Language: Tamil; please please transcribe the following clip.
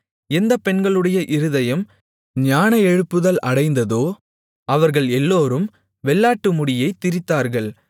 எந்த பெண்களுடைய இருதயம் ஞான எழுப்புதல் அடைந்ததோ அவர்கள் எல்லோரும் வெள்ளாட்டு முடியைத் திரித்தார்கள்